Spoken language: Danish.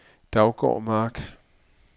Daugård Mark